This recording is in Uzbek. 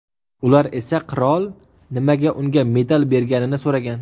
Ular esa qirol nimaga unga medal berganini so‘ragan.